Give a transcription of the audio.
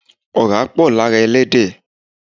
Ọ̀rá pọ̀ lára ẹran Ẹlẹ́dẹ̀